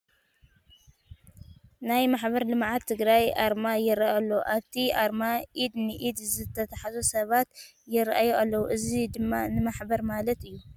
ናይ ማሕበር ልምዓት ትግራይ ኣርማ ይርአ ኣሎ፡፡ ኣብቲ ኣርማ ኢድ ንኢድ ዝተተሓሓዙ ሰባት ይርአዩ ኣለዉ፡፡ እዚ ድማ ንሕበር ማለት እዩ፡፡